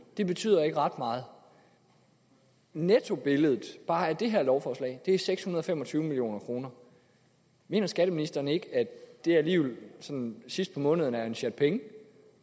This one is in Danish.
det betyder ikke ret meget nettobilledet bare af det her lovforslag er seks hundrede og fem og tyve million kroner mener skatteministeren ikke at det alligevel sådan sidst på måneden er en sjat penge